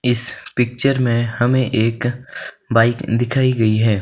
इस पिक्चर में हमें एक बाइक दिखाई गई है।